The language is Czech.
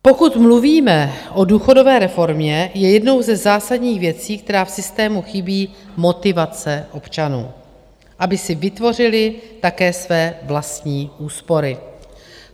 Pokud mluvíme o důchodové reformě, je jednou ze zásadních věcí, která v systému chybí, motivace občanů, aby si vytvořili také své vlastní úspory.